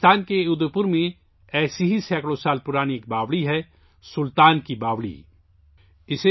راجستھان کے اودے پور میں ایسی ہی سیکڑوں سال پرانی ایک باوڑی ہے 'سلطان کی باوڑی'